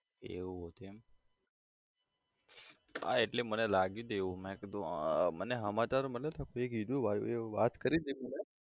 એવું હતું એમ હા એટલે મને લાગ્યું હતું એવું મેં કીધું અમ મને સમાચાર મળ્યા હતા કોઈએ કીધું વાત કરી હતી મને